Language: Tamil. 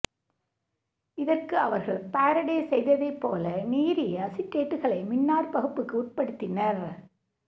இதற்கு அவர்கள் பாரடே செய்ததைப் போல நீரிய அசிட்டேட்டுகளை மின்னாற்பகுப்புக்கு உட்படுத்தினர்